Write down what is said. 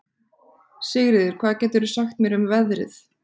Sigríður, hvað geturðu sagt mér um veðrið?